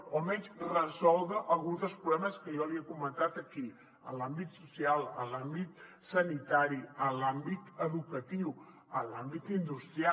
o almenys resoldre alguns dels problemes que jo li he comentat aquí en l’àmbit social en l’àmbit sanitari en l’àmbit educatiu en l’àmbit industrial